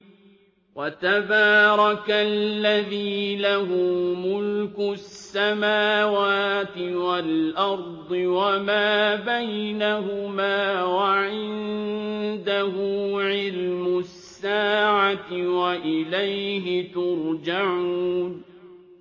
وَتَبَارَكَ الَّذِي لَهُ مُلْكُ السَّمَاوَاتِ وَالْأَرْضِ وَمَا بَيْنَهُمَا وَعِندَهُ عِلْمُ السَّاعَةِ وَإِلَيْهِ تُرْجَعُونَ